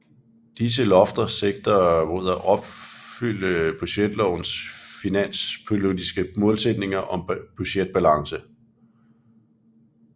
Disse lofter sigter mod at opfylde budgetlovens finanspolitiske målsætninger om budgetbalance